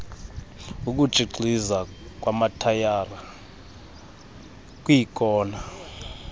ukutshixiza kwamatayara kwiikona